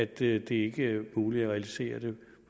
det ikke er muligt at realisere det